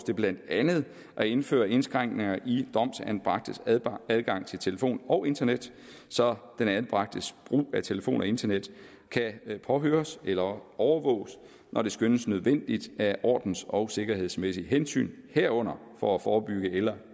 det blandt andet at indføre indskrænkninger i domsanbragtes adgang adgang til telefon og internet så den anbragtes brug af telefon og internet kan påhøres eller overvåges når det skønnes nødvendigt af ordens og sikkerhedsmæssige hensyn herunder for at forebygge eller